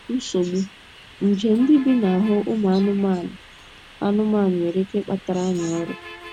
NSOGBU: Nje ndị bi n’ahụ́ ụmụ anụmanụ anụmanụ nwere ike ịkpatara anyị ọrịa.